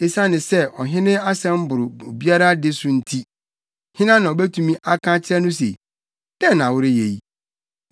Esiane sɛ ɔhene asɛm boro obiara de so nti, hena na obetumi aka akyerɛ no se: “Dɛn na woreyɛ yi?”